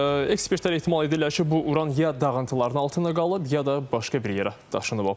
Ekspertlər ehtimal edirlər ki, bu uran ya dağıntılarının altında qalıb, ya da başqa bir yerə daşınıb aparılıb.